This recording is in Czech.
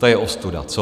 To je ostuda, co?